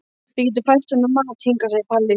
Við getum fært honum mat hingað, segir Palli.